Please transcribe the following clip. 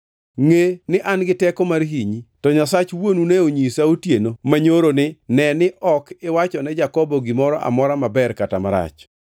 Ngʼe ni an-gi teko mar hinyi, to Nyasach wuonu ne onyisa otieno manyoro ni, ‘Ne ni ok iwachone Jakobo gimoro amora, maber kata marach.’